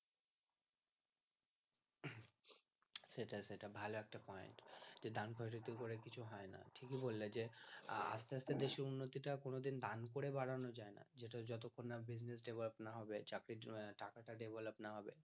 সেটাই সেটাই ভালো একটা point যে দেন খয়রাতি করে কিছু হয়না ঠিকই বললে যে আস্তে আস্তে দেশের উন্নতি টা কোনো দিন দেন করে বাড়ানো যায়না যেটা যতক্ষন না business development না হবে চাকরির জন্যে টাকা টা develop না হবে